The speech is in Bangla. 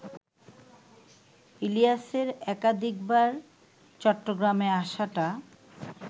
ইলিয়াসের একাধিকবার চট্টগ্রামে আসাটা